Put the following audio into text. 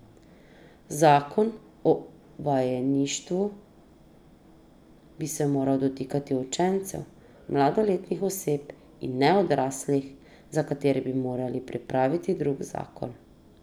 Zakon o vajeništvu bi se moral dotikati učencev, mladoletnih oseb, in ne odraslih, za katere bi morali pripraviti drug zakon.